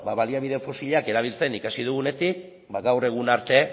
ba bueno baliabide fosilak erabiltzen ikasi dugunetik ba gaur egun arte